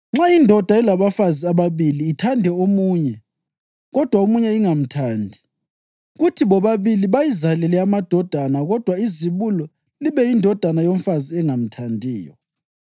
“Nxa indoda ilabafazi ababili, ithande omunye kodwa omunye ingamthandi, kuthi bobabili bayizalele amadodana kodwa izibulo libe yindodana yomfazi engamthandiyo,